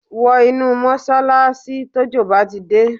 Wọ inú mọ́ṣálááṣí tójò bá di dé